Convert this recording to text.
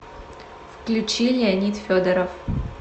включи леонид федоров